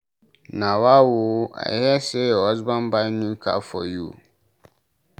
Nawa oo! I hear say your husband buy new car for you